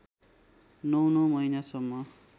नौ नौ महिनासम्म